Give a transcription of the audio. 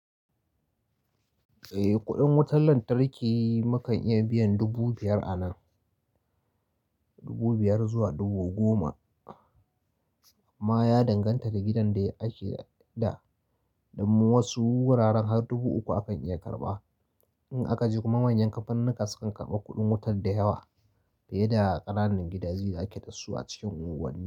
Eh, kuɗin wutar lantarki mukan iya biyan dubu biyar a nan, dubu biyar zuwa dubu goma. Amma ya danganta da gidan da ake da, dan wasu wuraren har dubu uku a kan iya karɓa. In aka je kuma manyan kanfanunnuka sukan karɓa kuɗin wutar da yawa, fiye da ƙananan gidaje da ake dasu a cikin unguwa nni.